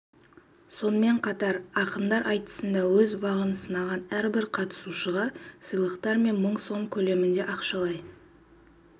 сонымен қатар ақындар айтысында өз бағын сынаған әрбір қатысушыға арнайы сыйлықтар мен мың сом көлеміндегі ақшалай